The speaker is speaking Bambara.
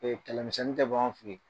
kɛlɛmisɛnnin tɛ b'an fɛ